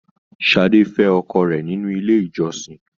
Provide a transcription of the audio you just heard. Sadé fẹ ọkọ rẹ nínú ilé ìjọsìn.